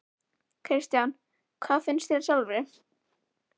Kristján: Hvað finnst þér sjálfri?